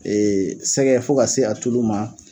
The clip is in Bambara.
sɛgɛ fo ka se a tulu ma.